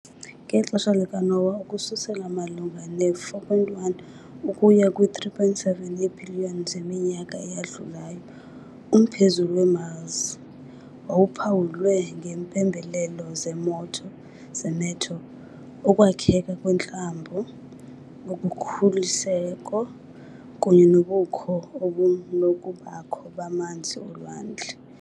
Ngexesha likaNoah ukususela malunga ne-4.1 ukuya kwi-3.7 yeebhiliyoni zeminyaka eyadlulayo, umphezulu we-Mars wawuphawulwe ngeempembelelo zemeteor, ukwakheka kweentlambo, ukhukuliseko, kunye nobukho obunokubakho bamanzi olwandle.